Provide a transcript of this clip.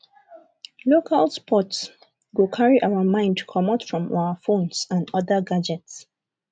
local sports go carry our mind comot from our phones and oda gadgets